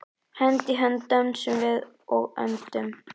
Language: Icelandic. Hönd í hönd dönsum við og öndum.